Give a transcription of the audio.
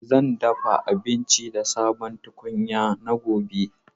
Zan dafa abinci da sabon tukunya na gobe.